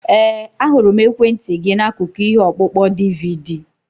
Ee, ahụrụ m ekwentị gị n'akụkụ ihe ọkpụkpọ DVD.